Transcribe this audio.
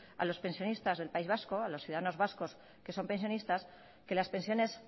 a los pensionistas del país vasco a los ciudadanos vascos que son pensionistas que las pensiones